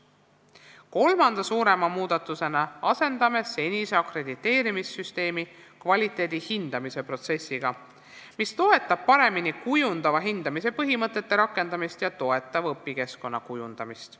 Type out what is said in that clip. Kolmanda suurema muudatusena asendame senise akrediteerimissüsteemi kvaliteedi hindamise protsessiga, mis toetab paremini kujundava hindamise põhimõtete rakendamist ja toetava õpikeskkonna kujundamist.